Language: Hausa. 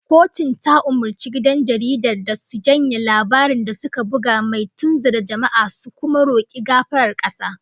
Kotun ta umurci gidan jaridar da su janye labarin da suka buga mai tunzura jama'a, su kuma roki gafarar kasa